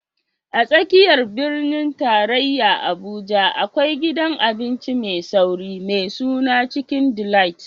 A tsakiyar birnin tarayya Abuja, akwai gidan abinci mai sauri mai suna Chicken Delight.